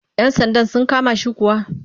Yan sandan sun kama shi kuwa?